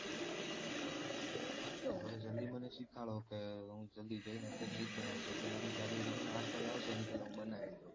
તો મને જલ્દી મને શીખવાડો કે હું જલ્દી જઈએ ને અત્યારે એજ બનાઉં અને જાગૃતિ છે ને આઠ વાગે આવશે એની પેલા હું બનાઈ દઉં